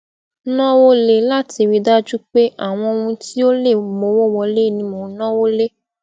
nawo le lati ri daju pe awon ohun ti o le mowo wole ni mo n nawo le